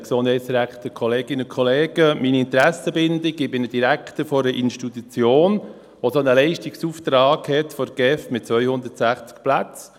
Meine Interessenbindung: Ich bin Direktor einer Institution, die einen solchen Leistungsauftrag der GEF hat, mit 260 Plätzen.